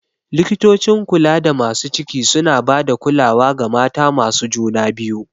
Likitocin kulada masu ciki suna ba da kulawa ga mata masu juna biyu.